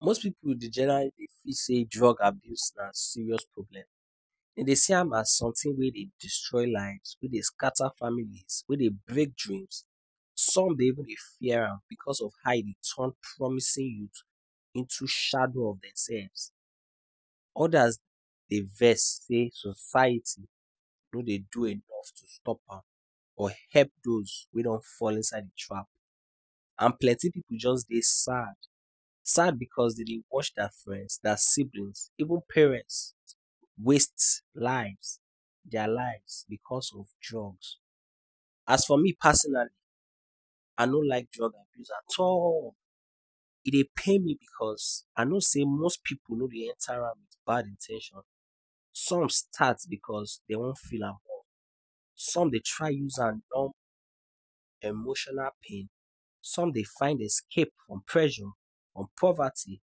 Most pipu dey generally feel say drug abuse na serious problem. Dey dey see am as something wey dey destroy life, wey dey scatter families, wey dey break dreams. Some dey even dey fear am because e dey turn promising youth into shadow of dem selves. Others dey vex say society no dey do anything to stop am or help those wey don fall inside the trap. And plenty pipu just dey sad — sad because dey dey watch their friends, their siblings, even parents waste lives — their lives — because of drugs. As for me personally, I no like drug abuse at all. E dey pain me because I know say most pipu no dey enter am with bad in ten tions. Some start because dey wan feel among. Some dey try use am numb emotional pain. Some dey find escape from pressure or poverty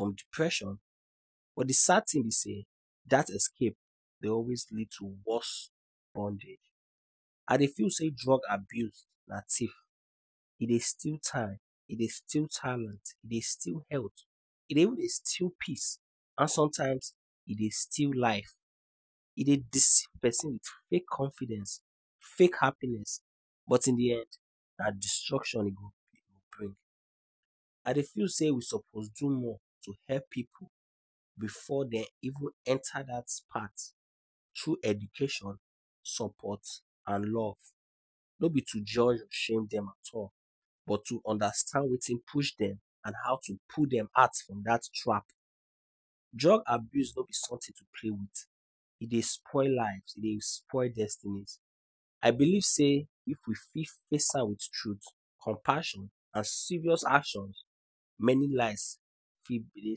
or depression. But the sad thing be say, dat escape dey always lead to worse bondage. I dey feel say drug abuse na tiff. E dey steal time. E dey steal talent. E dey steal health. E dey even dey steal peace. And sometimes, e dey steal life. E dey deceive pesin with fake confidence, fake happiness, but in the end, na destruction e go bring. I dey feel say we suppose do more to help pipu before dem even enter dat path — through education, support and love. No be to judge or shame dem at all. But to understand wetin push dem and how to pull dem out from dat trap. Drug abuse no be something to play with. E dey spoil lives. E dey spoil destiny. I believe say, if we fit face am with truth, compassion and serious action, many lives go fit begin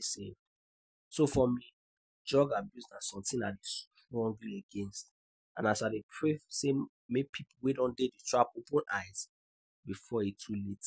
safe. So for me, drug abuse na something I dey strongly against with. And I dey pray say make pipu wey don dey the trap open eye before e too late.